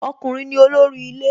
Ọkùnrin ni olórí ilé